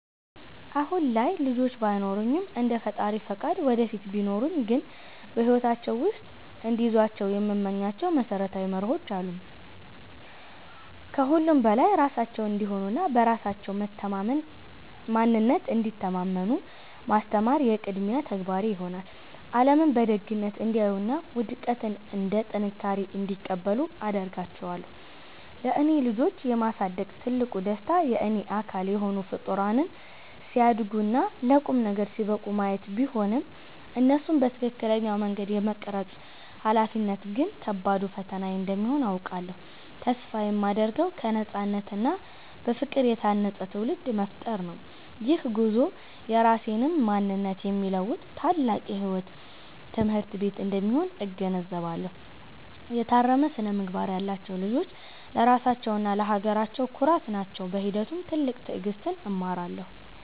አሁን ላይ ልጆች ባይኖሩኝም፣ እንደ ፈጣሪ ፈቃድ ወደፊት ቢኖሩኝ ግን በሕይወታቸው ውስጥ እንዲይዟቸው የምመኛቸው መሰረታዊ መርሆዎች አሉ። ከሁሉም በላይ ራሳቸውን እንዲሆኑና በራሳቸው ማንነት እንዲተማመኑ ማስተማር የቅድሚያ ተግባሬ ይሆናል። ዓለምን በደግነት እንዲያዩና ውድቀትን እንደ ጥንካሬ እንዲቀበሉ አደርጋቸዋለሁ። ለእኔ ልጆችን የማሳደግ ትልቁ ደስታ የእኔ አካል የሆኑ ፍጡራን ሲያድጉና ለቁም ነገር ሲበቁ ማየት ቢሆንም፣ እነሱን በትክክለኛው መንገድ የመቅረጽ ኃላፊነት ግን ከባዱ ፈተናዬ እንደሚሆን አውቃለሁ። ተስፋ የማደርገው በነፃነትና በፍቅር የታነፀ ትውልድ መፍጠር ነው። ይህ ጉዞ የራሴንም ማንነት የሚለውጥ ታላቅ የሕይወት ትምህርት ቤት እንደሚሆን እገነዘባለሁ። የታረመ ስነ-ምግባር ያላቸው ልጆች ለራሳቸውና ለሀገራቸው ኩራት ናቸው። በሂደቱም ትልቅ ትዕግሥትን እማራለሁ።